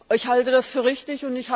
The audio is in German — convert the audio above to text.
Ich halte das für richtig!